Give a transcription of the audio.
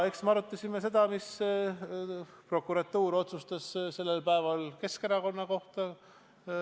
Eks me arutasime seda, mida prokuratuur oli sel päeval Keskerakonna kohta otsustanud.